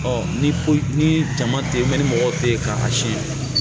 ni ko ni jama tɛ ye ni mɔgɔ tɛ yen k'a si